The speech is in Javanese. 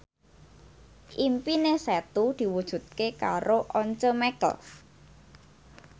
impine Setu diwujudke karo Once Mekel